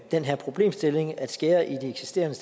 den her problemstilling at skære i de eksisterende